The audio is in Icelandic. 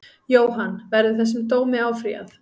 Jóhann: Verður þessum dómi áfrýjað?